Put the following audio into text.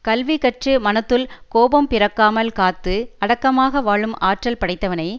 கல்வி கற்று மனத்துள் கோபம் பிறக்காமல் காத்து அடக்கமாக வாழும் ஆற்றல் படைத்தவனை